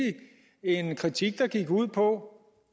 en kritik der gik ud på